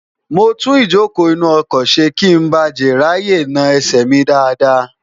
mo tún ìjókòó inú ọkọ̀ ṣe kí n ba jè ráàyè na ẹsẹ̀ mi dáadáa